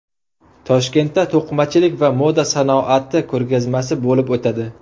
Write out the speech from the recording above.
Toshkentda to‘qimachilik va moda sanoati ko‘rgazmasi bo‘lib o‘tadi.